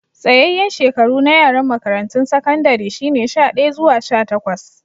Tsayayen shekaru na yaran makarantun sakandare shine sha daya zuwa sha takwas.